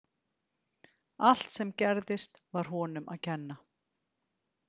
Allt sem gerðist var honum að kenna.